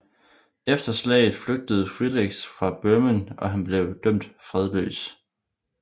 Efter slaget flygtede Friedrich fra Bøhmen og han blev dømt fredløs